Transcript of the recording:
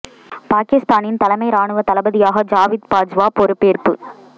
பாகிஸ்தானின் தலைமை ராணுவ தளபதியாக ஜாவித் பாஜ்வா பொறுப்பேற்பு